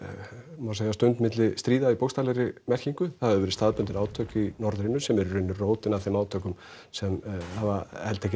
má segja stund milli stríða í bókstaflegri merkingu það hafa verið staðbundin átök í norðrinu sem eru í raun rótin að þeim átökum sem hafa heltekið